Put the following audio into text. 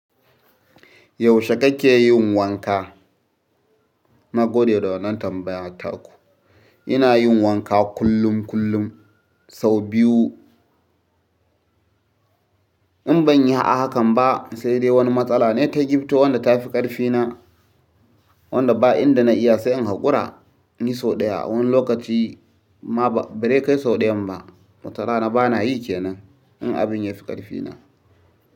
Yaushe kake yin wanka? Na gode da wannan tambaya taku. Ina yin wanka kullum kullum sau biyu. In ban yi a hakan ba sai dai wani matsala ne ta gifto wadda ta fi ƙarfi na wadda ba inda na iya sai in hakura. Ni sau ɗaya wani lokaci ma ba bare kai sau ɗayan ba. Watarana bana yi kenan in abin ya fi ƙarfi na.